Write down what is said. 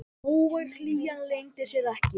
Hógvær hlýjan leyndi sér ekki.